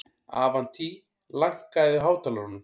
Avantí, lækkaðu í hátalaranum.